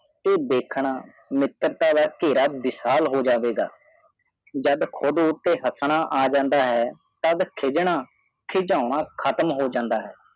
ਤੇ ਦੇਖਨਾ ਮਿਤੱਰਤਾ ਤਾ ਖਾਰਾ ਵਿਸ਼ਾਲ ਹੋ ਹੋਜਾਵੇਗਾ ਜਾਦ ਖੁਦ ਉਤੇ ਹਸਨਾ ਆਹ ਜਾਂਡਾ ਹਾਏ ਤਾਦ ਖਿਗੰਨਾ ਖੀਗੌਨਾ ਖੱਟਮ ਹੋ ਜੱਟਾ ਹਾਏ